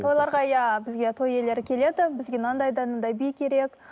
тойларға иә бізге той иелері келеді бізге мынандай да мынандай би керек